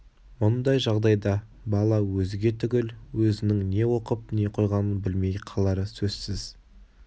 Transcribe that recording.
мұндай жағдайда бала өзге түгіл өзінің не оқып не қойғанын білмей қалары сөзсіз